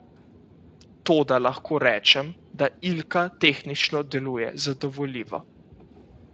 Toda lahko rečem, da Ilka tehnično deluje zadovoljivo.